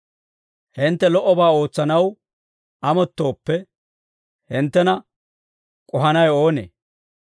Hintte lo"obaa ootsanaw amottooppe, hinttena k'ohanawe oonee?